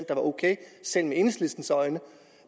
der var ok selv med enhedslistens øjne